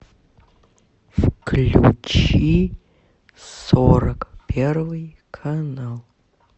включи сорок первый канал